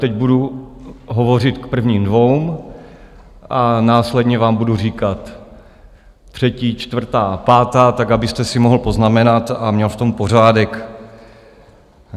Teď budu hovořit k prvním dvěma a následně vám budu říkat třetí, čtvrtá, pátá tak, abyste si mohl poznamenat a měl v tom pořádek.